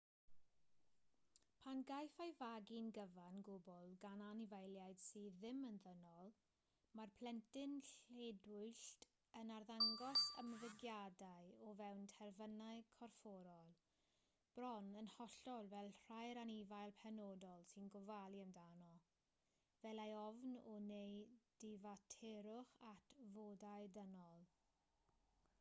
pan gaiff ei fagu'n gyfan gwbl gan anifeiliaid sydd ddim yn ddynol mae'r plentyn lledwyllt yn arddangos ymddygiadau o fewn terfynau corfforol bron yn hollol fel rhai'r anifail penodol sy'n gofalu amdano fel ei ofn o neu ddifaterwch at fodau dynol